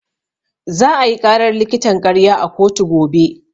Za ayi ƙarar likitan ƙarya a kotu gobe.